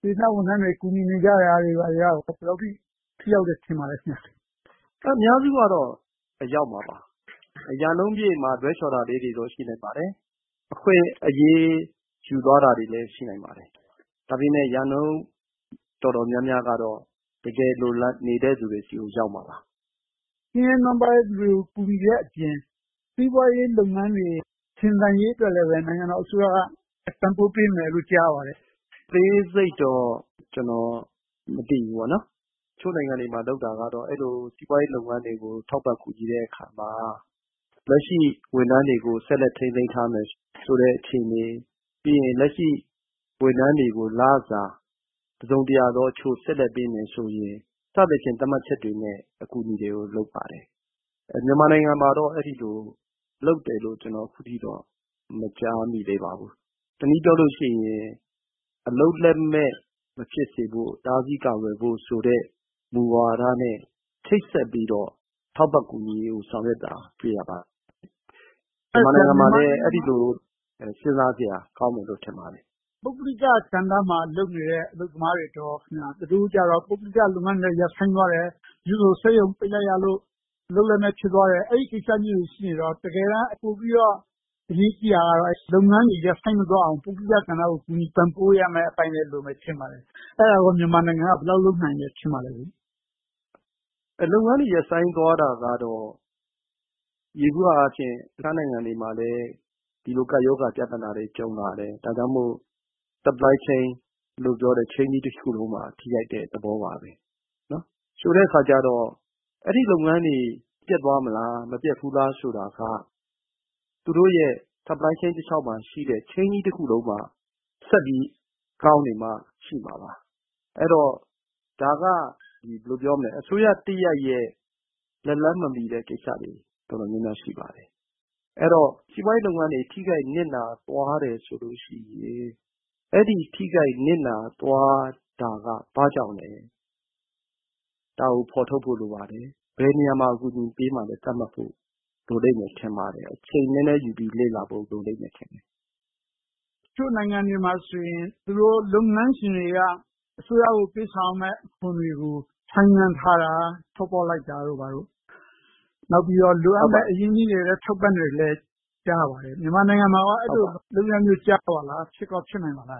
စေတနာဝန်ထမ်းတွေ ကူညီနေကြတာတွေက ဘယ်လောက်အထိ ထိရောက်တယ်လို့ ထင်ပါသလဲ။ ဖြေ ။ ။ အများစုကတော့ ရောက်မှာပါ။ ရာနှုန်းပြည့်မှာ လွှဲချော်တာလေးတွေတော့ ရှိနိုင်ပါတယ်။ အခွင့်အရေး ယူသွားနိုင်တာတွေလဲ ရှိနိုင်ပါတယ်။ ဒါပေမဲ့ ရာနှုန်းတော်တော်များများကတော့ တကယ်လိုလားနေသူတွေဆီ ရောက်မှာပါ။ မေး ။ ။ ဆင်းရဲနွမ်းပါးတဲ့လူတွေကို ကူညီနေတဲ့အပြင် စီးပွားရေးလုပ်ငန်းတွေ ရှင်သန်ရေးအတွက်လဲ နိုင်ငံတော်အစိုးရက ပံ့ပိုးပေးမယ်လို့ ကြားသိရပါတယ်။ ဖြေ ။ ။ အသေးစိတ်တော့ ကျနော်မသိဘူး။ တချို့နိုင်ငံတွေမှာ လုပ်တာကတော့ အဲဒီလို စီးပွားရေးလုပ်ငန်းတွေကို ထောက်ပံ့ကူညီတဲ့အခါမှာ လက်ရှိဝန်ထမ်းတွေကို ဆက်လက်ထိန်းသိမ်းထားမယ်ဆိုတဲ့ အခြေအနေ။ ပြီးရင် လက်ရှိ ဝန်ထမ်းတွေကို လစာတစုံတရာ ဆက်လက်ပေးမယ်ဆိုရင် စသဖြင့် သတ်မှတ်ချက်တွေနဲ့ အကူအညီတွေကို လုပ်ပါတယ်။ မြန်မာနိုင်ငံမှာတော့ အဲဒီလိုလုပ်တယ်လို့ အခုထက်ထိတော့ မကြားမိသေးပါဘူး။ တနည်းပြောလို့ရှိရင် အလုပ်လက်မဲ့ မဖြစ်စေဖို့၊ တားဆီးကာကွယ်ဖို့ဆိုတဲ့ မူဝါဒနဲ့ ချိတ်ဆက်ပြီးတော့ ထောက်ပံ့ကူညီရေးကို ဆောင်ရွက်တာကို တွေ့ရပါတယ်။ မြန်မာနိုင်ငံမှာလဲ အဲဒီလို စဉ်းစားစရာ ကောင်းမယ်လို့ ထင်ပါတယ်။ မေး ။ ။ ပုဂ္ဂလိကကဏ္ဍမှာ လုပ်နေတဲ့ အလုပ်သမားတွေကြတော့ သူတို့မှာ ပုဂ္ဂလိကလုပ်ငန်းတွေ ရပ်ဆိုင်းသွားတယ်။ တချို့ဆို စက်ရုံပိတ်လိုက်ရလို့ အလုပ်လက်မဲ့ ဖြစ်သွားတယ်။ အဲဒီလိုကိစ္စရပ်တွေ ရှိနေတော့ တကယ်တမ်း အရေးကြီးတာကတော့ ပုဂ္ဂလိကလုပ်ငန်းတွေ မရပ်ဆိုင်းသွားအောင် ပုဂ္ဂလိကကဏ္ဍကို ကူညီပံ့ပိုးရမယ့် အပိုင်းတွေ လိုမယ်ထင်ပါတယ်။ အဲဒါကို မြန်မာနိုင်ငံက ဘယ်လောက်လုပ်နိုင်တယ်လို့ ထင်ပါသလဲ။ ဖြေ ။ ။ လုပ်ငန်းတွေ ရပ်ဆိုင်းသွားတာကတော့ ယေဘုယျအားဖြင့် တခြားနိုင်ငံတွေမှာလဲ ဒီလိုကပ်ရောဂါ ပြဿနာတွေ ကြုံလာတယ်။ ဒါကြောင့်မို့ Supply Chain လို့ပြောတဲ့ ဆက်နွှယ်မှုအားလုံးမှာ ထိခိုက်မှု သဘောပါပဲ။ ဆိုတဲ့အခါကြတော့ အဲဒီလုပ်ငန်းတွေ ပျက်သွားမလဲ။ မပျက်ဘူးလားဆိုတာက သူတို့ရဲ့ Supply Chain တလျှောက်မှာရှိတဲ့ Chain ကြီးတခုလုံးမှာ ဆက်ပြီးကောင်းနေမှ ရှိမှာပါ။ အဲဒီတော့ ဒါက ဘယ်လိုပြောမလဲ အစိုးရတရပ်ရဲ့ လက်လှမ်းမမီတဲ့ကိစ္စတွေ တော်တော်များများ ရှိပါတယ်။ အဲဒီတော့ စီးပွားရေးလုပ်ငန်းတွေ ထိခိုက်နစ်နာသွားမယ်ဆိုလို့ရှိရင် အဲဒီထိခိုက်နစ်နာသွားတာက ဘာကြောင့်လဲ။ ဒါကို ဖော်ထုတ်ဖို့ လိုပါတယ်။ ဘယ်နေရာမှာ ကူညီပေးမှာလဲ သတ်မှတ်ဖို့ လိုလိမ့်မယ်ထင်ပါတယ်။ အချိန်နည်းနည်း လေ့လာဖို့ လိုမယ်လို့ ထင်ပါတယ်။ မေး ။ ။ တချို့နိုင်ငံတွေမှာဆိုရင် ဒီလိုလုပ်ငန်းရှင်တွေက အစိုးရကို ပေးဆောင်ရမယ့် အခွန်တွေကို ဆိုင်းငံထားတာ၊ လျှော့ပေါ့လိုက်တာတို့ နောက်ပြီးတော့ လိုအပ်တဲ့ အရင်းအနှီးတွေလည်း ထောက်ပံ့တယ်လို့ ကြားရပါတယ်။ မြန်မာနိုင်ငံမှာကော အဲဒီလိုလုပ်ဆောင်တာတွေ ကြားရပါသလား။ ဖြစ်ကောဖြစ်နိုင်မလာ